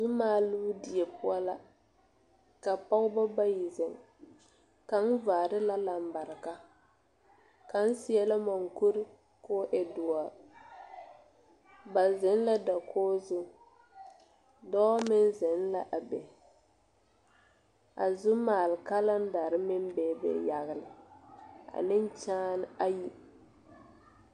Zumaaloo die poɔ la ka pɔgeba bayi zeŋ kaŋ vaare la lambarika kaŋ seɛ la monkuri k,o e doɔre ba zeŋ la dakogi zu dɔɔ meŋ zeŋ l,a be a zumaale kalendare meŋ bebe yagle ane kyããne ayi.